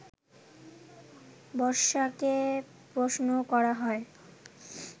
বর্ষাকে প্রশ্ন করা হয়